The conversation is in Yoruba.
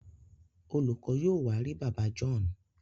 Olùkó yóò wá rí bàbá John.